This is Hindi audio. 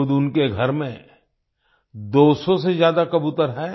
खुद उनके घर में 200 से ज्यादा कबूतर हैं